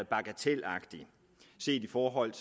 bagatelagtig set i forhold